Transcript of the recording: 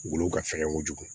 Wolo ka fɛgɛn kojugu